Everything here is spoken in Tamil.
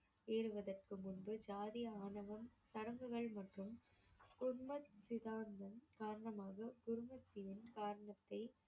ஏறுவதற்கு முன்பு ஜாதி ஆணவம் சடங்குகள் மற்றும் குர்மத் காரணமாக குர்மத்தியின் காரணத்தை